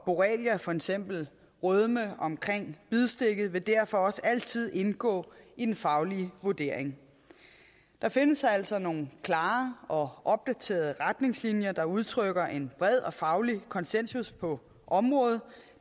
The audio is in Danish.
borrelia for eksempel rødme omkring bidstikket vil derfor også altid indgå i den faglige vurdering der findes altså nogle klare og opdaterede retningslinjer der udtrykker en bred og faglig konsensus på området